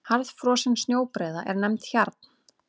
Harðfrosin snjóbreiða er nefnd hjarn.